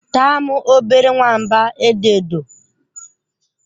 Taa m, obere nwamba edo edo.